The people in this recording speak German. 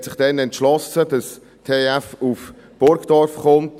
Man hat sich damals entschlossen, dass die TF Bern nach Burgdorf kommt.